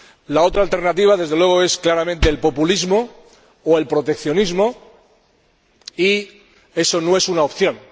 La otra alternativa, desde luego, es claramente el populismo o el proteccionismo, y eso no es una opción.